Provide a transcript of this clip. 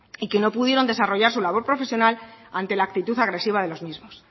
y que no pudieron desarrollar su labor profesional ante la actitud agresiva de los mismos